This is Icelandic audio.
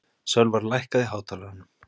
Sölvar, lækkaðu í hátalaranum.